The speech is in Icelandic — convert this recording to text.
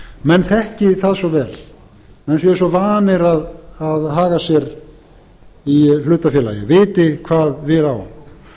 menn þekki það svo vel menn séu svo vanir að haga sér í hlutafélagi viti hvað við á